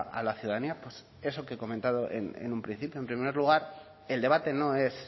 a la ciudadanía pues eso que he comentado en un principio en primer lugar el debate no es